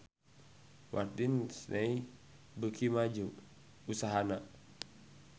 Walt Disney beuki maju usahana